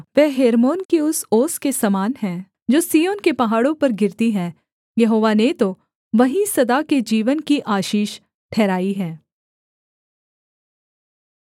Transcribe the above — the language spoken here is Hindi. वह हेर्मोन की उस ओस के समान है जो सिय्योन के पहाड़ों पर गिरती है यहोवा ने तो वहीं सदा के जीवन की आशीष ठहराई है